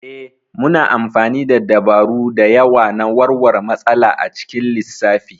Ee, muna amfani da dabaru da yawa na warware matsala a cikin lissafi.